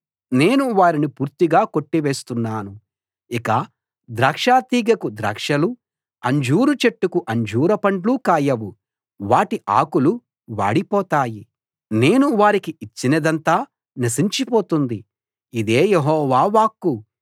నేను వారిని పూర్తిగా కొట్టివేస్తున్నాను ఇక ద్రాక్షతీగెకు ద్రాక్షలు అంజూరు చెట్టుకు అంజూరపండ్లు కాయవు వాటి ఆకులు వాడిపోతాయి నేను వారికి ఇచ్చినదంతా నశించిపోతుంది ఇదే యెహోవా వాక్కు